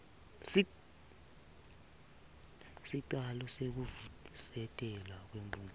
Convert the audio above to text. sicelo sekuvusetelwa kwemvumo